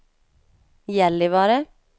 Gällivare